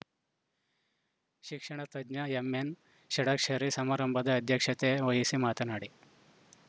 ಶಿಕ್ಷಣ ತಜ್ಞ ಎಂಎನ್‌ ಷಡಕ್ಷರಿ ಸಮಾರಂಭದ ಅಧ್ಯಕ್ಷತೆ ವಹಿಸಿ ಮಾತನಾಡಿ